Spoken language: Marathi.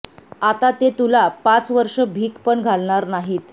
आता ते तुला पाच वर्ष भिक पण घालणार नाहीत